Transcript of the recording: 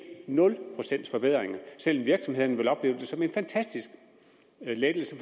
nul procents forbedringer selv om virksomhederne vil opleve det som en fantastisk lettelse